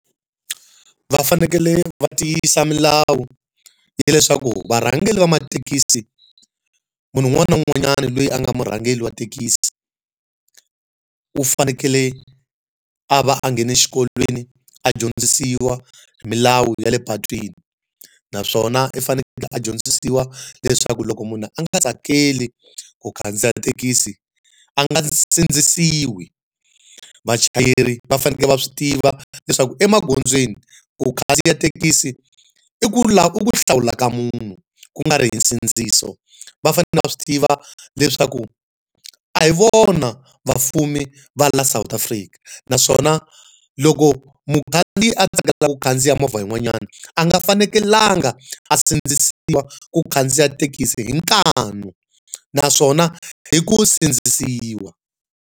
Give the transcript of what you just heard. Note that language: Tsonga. Va fanekele va tiyisa milawu ya leswaku varhangeri va mathekisi, munhu un'wana na un'wanyani loyi a nga murhangeri wa thekisi u fanekele a va a nghene xikolweni a dyondzisiwa hi milawu ya le patwini naswona u fanekele a dyondzisiwa leswaku loko munhu a nga tsakeli ku khandziya thekisi a nga sindzisiwi. Vachayeri va fanekele va swi tiva leswaku emagondzweni ku khandziya thekisi i ku i ku hlawula ka munhu, ku nga ri hi nsindziso. Va fanele va swi tiva leswaku a hi vona vafumi va laha South Afrika. Naswona loko mukhandziyi a tsakelaka khandziya movha yin'wanyana a nga fanekelanga a sindzisiwa ku khandziya thekisi hi nkanu naswona hi ku sindzisiwa.